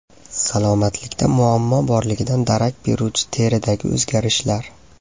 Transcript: Salomatlikda muammo borligidan darak beruvchi teridagi o‘zgarishlar.